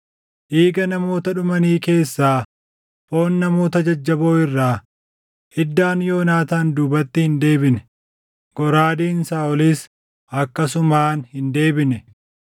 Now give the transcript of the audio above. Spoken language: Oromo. “Dhiiga namoota dhumanii keessaa, foon namoota jajjaboo irraa, iddaan Yoonaataan duubatti hin deebine; goraadeen Saaʼolis akkasumaan hin deebine.